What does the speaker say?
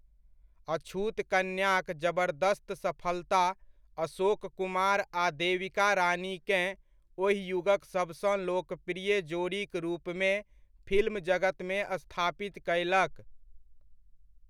अछूत कन्याक जबर्दस्त सफलता अशोक कुमार आ देविका रानीकेँ ओहि युगक सबसँ लोकप्रिय जोड़ीक रूपमे फिल्म जगतमे स्थापित कयलक।